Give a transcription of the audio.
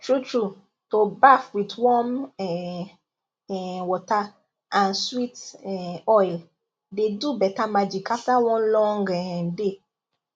truetrue to baff with warm um um water and sweet um oil dey do better magic after one long um day